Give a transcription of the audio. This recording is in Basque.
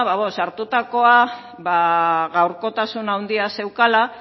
ba bueno sartutakoa ba gaurkotasun handia zuelako